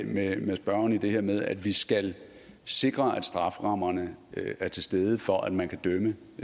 med spørgeren i det her med at vi skal sikre at strafferammerne er til stede for at man kan dømme